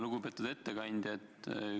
Lugupeetud ettekandja!